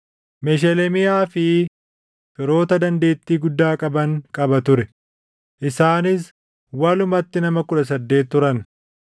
Mesheleemiyaa fi firoota dandeettii guddaa qaban qaba ture; isaanis walumatti nama 18 turan.